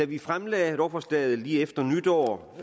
vi fremlagde lovforslaget lige efter nytår